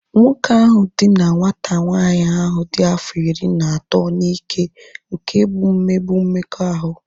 Nwoke ahụ dina nwata nwanyị ahu dị afọ iri na atọ n'ike nke bụ mmegbu mmekọahụ